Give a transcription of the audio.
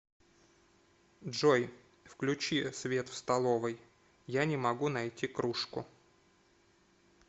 джой включи свет в столовой я не могу найти кружку